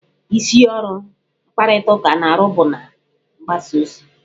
Isi ọrụ mkparịtaụka na-arụ bụ na-mgbasa ozi.